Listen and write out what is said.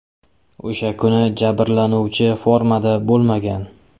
O‘sha kuni jabrlanuvchi formada bo‘lmagan.